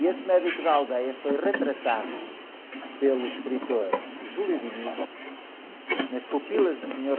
E esse médico da aldeia foi retratado pelo escritor, nas pupilas do Sr.